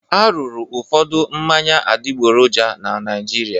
A rụrụ ụfọdụ mmanya adịgboroja na Naịjirịa.